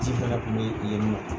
Ci fana tun bɛ ale ni o cɛ.